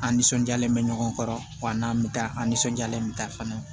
An nisɔndiyalen bɛ ɲɔgɔn kɔrɔ wa n'an bɛ taa an nisɔndiyalen bɛ taa fana